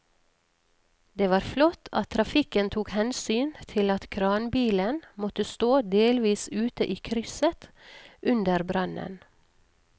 Det var flott at trafikken tok hensyn til at kranbilen måtte stå delvis ute i krysset under brannen.